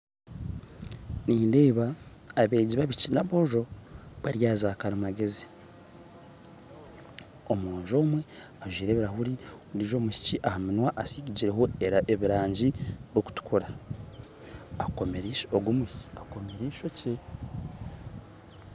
Nindeeba abeegi baboojo na abaishiki bari ahaza karimagyezi, omwojo omwe ajwaire ebirahuri ondiijo omwishiki aha munwa asigireho ebirangi byokutukura akomire ishokye.